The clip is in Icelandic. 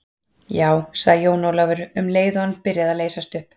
Já, sagði Jón Ólafur, um leið og hann byrjaði að leysast upp.